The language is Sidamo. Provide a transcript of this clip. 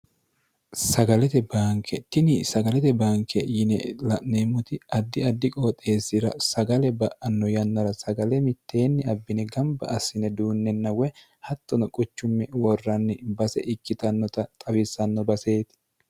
sagalete baanke tini sagalete banke yine la'meemmoti addi addi qooxeessira sagale ba'anno yannara sagale mitteenni abbine gamba assine duunnenna woy hattono quchumme worranni base ikkitannota xawissanno baseeti